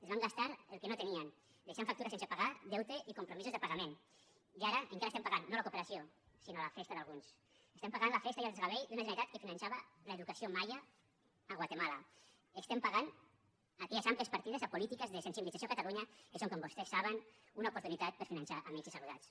es van gastar el que no tenien deixant factures sense pagar deute i compromisos de pagament i ara encara estem pagant no la cooperació sinó la festa d’alguns estem pagant la festa i el desgavell d’una generalitat que finançava l’educació maia a guatemala estem pagant aquelles àmplies partides a polítiques de sensibilització a catalunya que són com vostès saben una oportunitat per finançar amics i saludats